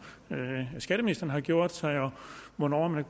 skatteministeren har gjort sig og hvornår man